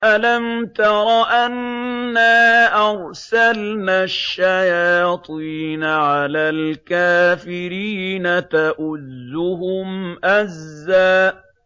أَلَمْ تَرَ أَنَّا أَرْسَلْنَا الشَّيَاطِينَ عَلَى الْكَافِرِينَ تَؤُزُّهُمْ أَزًّا